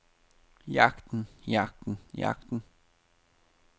jagten jagten jagten